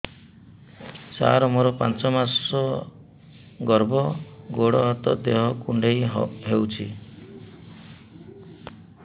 ସାର ମୋର ପାଞ୍ଚ ମାସ ଗର୍ଭ ଗୋଡ ହାତ ଦେହ କୁଣ୍ଡେଇ ହେଉଛି